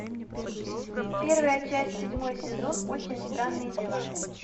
первая часть седьмой сезон очень странные дела